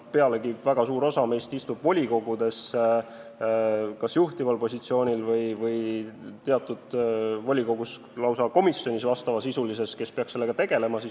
Pealegi, väga suur osa meist on volikogudes kas juhtival positsioonil või mõni isegi lausa komisjonis, kes peaks sellega tegelema.